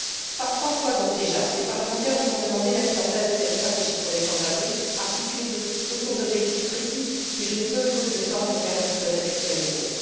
Donc, par trois fois déjà, les parlementaires vous ont demandé la mise en place de cette stratégie pour les sans abris, articulée autour d'objectifs précis, que je ne peux, faute de temps, me permettre de répéter à nouveau.